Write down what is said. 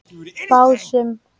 Básum